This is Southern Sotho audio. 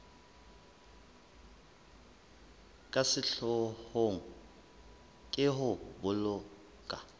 ka sehloohong ke ho boloka